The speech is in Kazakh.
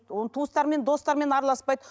оның туыстарымен достарымен араласпайды